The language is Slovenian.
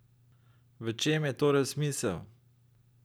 V čem je torej smisel?